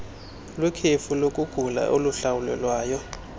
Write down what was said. lwekhefu lokugula oluhlawulelwayo